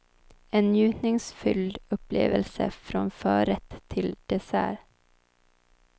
En njutningsfylld upplevelse från förrätt till dessert.